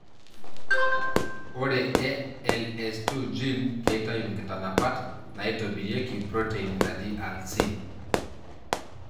Ore ALS2 gene keitayu nkitanapat naitobirieki protein naji alsin.